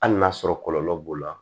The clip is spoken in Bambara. Hali n'a sɔrɔ kɔlɔlɔ b'o la